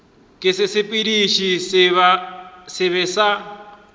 ke sesepediši se sebe sa